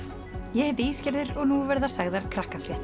ég heiti og nú verða sagðar